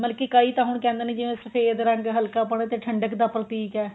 ਮਤਲਬ ਕੀ ਕਈ ਤਾਂ ਹੁਣ ਕਹਿੰਦੇ ਨੇ ਜਿਵੇਂ ਸਫ਼ੇਦ ਰੰਗ ਹਲਕਾ ਮਾੜਾ ਜਾ ਠੰਡਕ ਦਾ ਪ੍ਰਤੀਕ ਏ